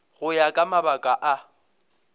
go ya ka mabaka a